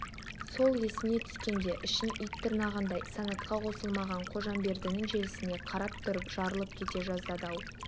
сол есіне түскенде ішін ит тырнағандай санатқа қосылмаған қожамбердінің желісіне қарап тұрып жарылып кете жаздады ау